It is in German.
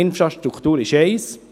Infrastruktur ist das eine.